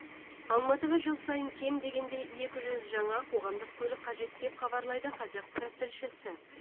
алматыға жыл сайын кем дегенде екі жүз жаңа қоғамдық көлік қажет деп хабарлайды қазақпарат тілшісі